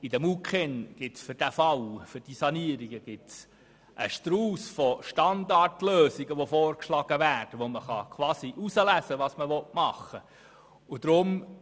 In den MuKEn wird für diesen Fall beziehungsweise diese Sanierungen ein Strauss von Standardlösungen vorgeschlagen, und man kann wählen, was man umsetzen will.